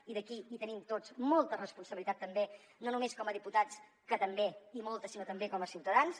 i aquí hi tenim tots molta responsabilitat també no només com a diputats que també i molta sinó també com a ciutadans